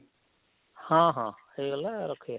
ହଁ ହଁ ହେଇ ଗଲା ରଖିବା